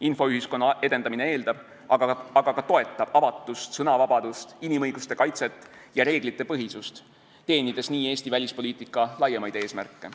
Infoühiskonna edendamine eeldab, aga ka toetab avatust, sõnavabadust, inimõiguste kaitset ja reeglitepõhisust, teenides nii Eesti välispoliitika laiemaid eesmärke.